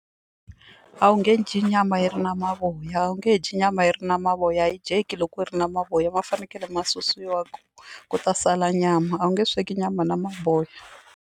A wu nge dyi nyama yi ri na mavoya a wu nge dyi nyama yi ri na mavoya a yi dyeki loko yi ri na mavoya ma fanekele ma susiwa ku ta sala nyama a wu nge sweki nyama na mavoya.